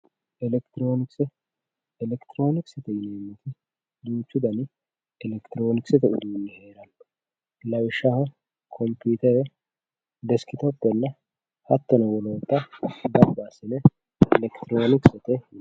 elekitiroonikise elekitiroonikise yineemmotti duuchu dani elekitiroonikise uduunni heeranno lawishshaho kompiitere deskitopenna hattono wolootanna gamba assine elekitiroonikisete yinanni.